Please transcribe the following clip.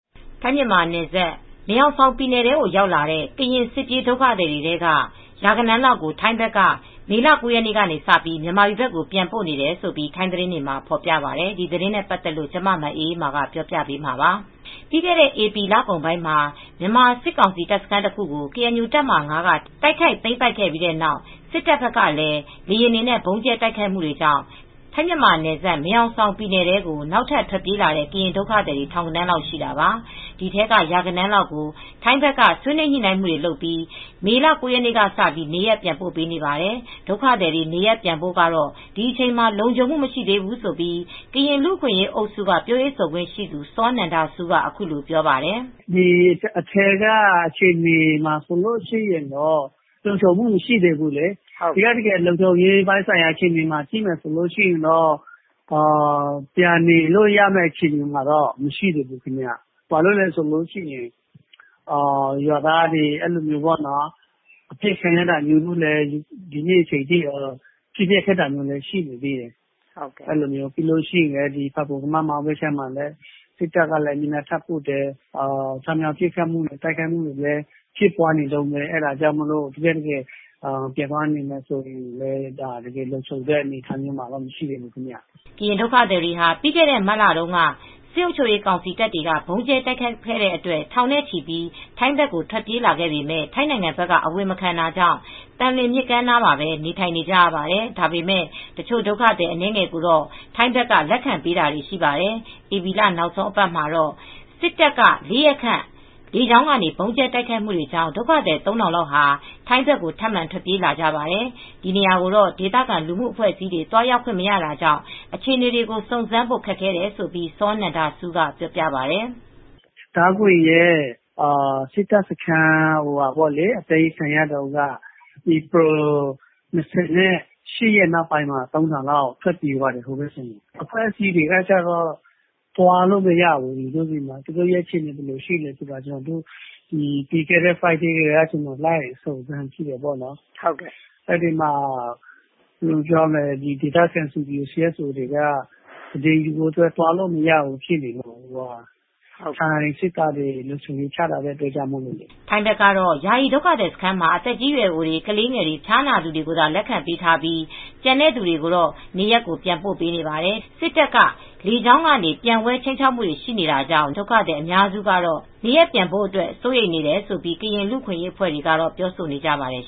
ထိုင်း-မြန်မာနယ်စပ် မယ်ဟောင်ဆောင်ပြည်နယ်ထဲ ရောက်လာတဲ့ ကရင်စစ်ဘေးဒုက္ခသည်တွေထဲက ရာဂဏန်းလောက်ကို ထိုင်းဘက်က မေလ ၉ ရက်နေ့က မြန်မာပြည်ဘက်ကို ပြန်ပို့တယ်လို့ ထိုင်းသတင်းတွေမှာ ဖော်ပြပါတယ်။ အပြည့်အစုံကို မအေးအေးမာ တင်ပြပေးထားပါတယ်။ ပြီးခဲ့တဲ့ ဧပြီလကုန်ပိုင်းမှာ မြန်မာစစ်ကောင်စီ တပ်စခန်းတခုကို ကေအန်ယူ တပ်မဟာ ၅ က တိုက်ခိုက်သိမ်းပိုက်ပြီးတဲ့နောက် စစ်တပ်ကလည်း လေယာဉ်တွေနဲ့ ဗုံးကြဲတိုက်ခိုက်မှုတွေကြောင့် ထိုင်း-မြန်မာနယ်စပ် မယ်ဟောင်ဆောင်ပြည်နယ်ထဲကို နောက်ထပ် ထွက်ပြေးလာတဲ့ ကရင်ဒုက္ခသည် ထောင်ဂဏန်းလောက်ရှိတာပါ။ ဒီထဲက ရာဂဏန်းလောက်ကို ထိုင်းဘက်က ဆွေးနွေးညှိနှိုင်းမှုတွေလုပ်ပြီး မေလ ၉ ရက်နေ့ကစပြီး နေရပ်ပြန်ပို့နေပါတယ်။ ဒုက္ခသည်တွေ နေရပ်ပြန်ဖို့ကတော့ ဒီအချိန်မှာ လုံခြုံမှု မရှိသေးဘူးလို့ ကရင်လူ့အခွင့်အရေးအုပ်စုက ပြောရေးဆိုခွင့်ရှိသူ စောနန္ဒဆူးက အခုလိုပြောပါတယ်။ “အထဲကအခြေအနေမှာက လုံခြုံမှု မရှိသေးဘူးလေ။ လုံခြုံရေးပိုင်း အခြေအနေကို ကြည့်မယ်ဆိုရင် ပြန်နေလို့ရမယ့် အခြေအနေမှာ မရှိသေးဘူး။ ဘာလို့လဲဆိုတော့ ရွာသားတွေ ပစ်ခတ်ခံရတဲ့ အခြေအနေမျိုးတွေ ဒီကနေ့ထိ ထိခိုက်မှုတွေက ရှိနေသေးတယ်။ ဖာပွန် ကမမောင်းဘက်မှာလည်း စစ်တပ်က တပ်အင်အားထပ်ပို့တယ်။ ချောင်းမြောင်းပစ်ခတ်မှု တိုက်ခိုက်မှုတွေလည်း ဖြစ်ပွားနေတုန်းပဲ။ တကယ့်တကယ် ပြန်သွားနေမယ်ဆိုရင်လည်း လုံခြုံတဲ့အနေအထားမှာ မရှိသေးဘူး။” ကရင်ဒုက္ခသည်တွေဟာ ပြီးခဲ့တဲ့ မတ်လတုန်းက စစ်အုပ်ချုပ်ရေးကောင်စီ တပ်တွေက ဗုံးကြဲတိုက်ခိုက်ခဲ့တဲ့အတွက် ထောင်နဲ့ချီပြီး ထိုင်းဘက်ကို ထွက်ပြေးလာပေမယ့် ထိုင်းနိုင်ငံဘက်က အဝင်မခံတာကြောင့် သံလွင်မြစ်ကမ်းနားမှာပဲ နေထိုင်နေကြရပါတယ်။ ဒါပေမယ့် တချို့ဒုက္ခသည် အနည်းငယ်ကိုတော့ ထိုင်းဘက်က လက်ခံပေးထားတာ ရှိပါတယ်။ ဧပြီနောက်ဆုံးအပတ်မှာတော့ စစ်တပ်က ၄ ရက်ခန့် လေကြောင်းကနေ ဗုံးကြဲတိုက်ခိုက်တာကြောင့် ဒုက္ခသည် ၃,၀၀၀ လောက်ဟာ ထိုင်းဘက်ကို ထပ်မံထွက်ပြေးလာကြပါတယ်။ ဒီနေရာကိုတော့ ဒေသခံ လူမှုအဖွဲ့အစည်းတွေ သွားရောက်ခွင့်မရတာကြောင့် အခြေအနေတွေကို စုံစမ်းဖို့ ခက်ခဲခဲ့တယ်လို့လည်း စောနန္ဒဆူးက ပြောပြပါတယ်။ “ဒါးခွင်ဘက်က စစ်တပ်စခန်း အသိမ်းခံရတုန်းက ဧပြီ ၂၈ လောက်က လူ ၃,၀၀၀ လောက် ထွက်ပြေးသွားကြတယ်။ အဖွဲ့အစည်းတွေက သွားလို့မရဘူး။ သူတို့အခြေအနေ ဘယ်လိုရှိလဲ ပြီးခဲ့တဲ့သောကြာနေ့က ကျနော် လိုက်စုံစမ်းသေးတယ်။ ဒေသခံ CSO၊ CBO တွေက သတင်းယူဖို့ သွားလို့မရဘူးဖြစ်နေတယ်။ ထိုင်းစစ်တပ်တွေ လုံခြုံရေးချထားတဲ့ အတွက်ကြောင့်လေ။” ထိုင်းဘက်ကတော့ ယာယီဒုက္ခသည်စခန်းမှာ သက်ကြီးရွယ်အိုတွေ၊ ကလေးတွေ၊ ဖျားနာသူတွေကိုသာ လက်ခံပေးထားပြီး ကျန်တဲ့သူတွေကို နေရပ်ကို ပြန်ပို့ပေးနေပါတယ်။ စစ်တပ်က လေကြောင်းကနေ ပျံဝဲ ခြိမ်းခြောက်မှုတွေ ရှိနေသေးတာကြောင့် ဒုက္ခသည်အများစုကတော့ နေရပ်ပြန်ဖို့အတွက် စိုးရိမ်နေတယ်လို့ ကရင်လူ့အခွင့်အရေး အဖွဲ့တွေကတော့ ပြောဆိုနေပါတယ်